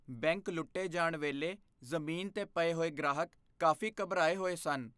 Bank ਲੁੱਟੇ ਜਾਣ ਵੇਲੇ ਜ਼ਮੀਨ 'ਤੇ ਪਏ ਹੋਏ ਗ੍ਰਾਹਕ ਕਾਫ਼ੀ ਘਬਰਾਏ ਹੋਏ ਸਨ।